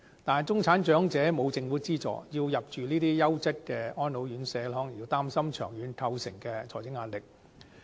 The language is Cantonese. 但是，中產長者沒有政府資助，要入住這些優質的安老院舍，可能會擔心長遠構成的財政壓力。